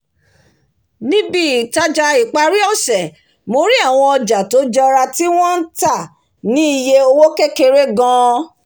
ní ibi-itaja ìparí ọ̀sẹ̀ mo rí àwọn ọja tó jọra tí wọ́n ń tà ní iye owó kékèké gan-an